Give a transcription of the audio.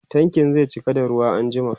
tankin zai cika zuwa anjima